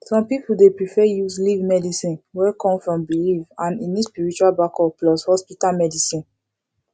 some people dey prefer use leaf medicine wey come from belief and e need spiritual backup plus hospital medicine